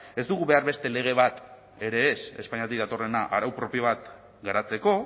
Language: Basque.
ez dugu behar beste lege bat ere ez espainiatik datorrena arau propio bat garatzeko